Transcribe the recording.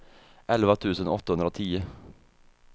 elva tusen åttahundratio